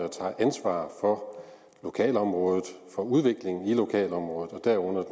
tager ansvar for lokalområdet og udviklingen i lokalområdet derunder